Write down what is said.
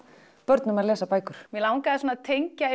börnum að lesa bækur mig langaði að tengja